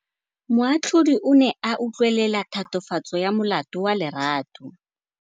Moatlhodi o ne a utlwelela tatofatsô ya molato wa Lerato.